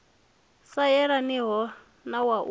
sa yelaniho na wa u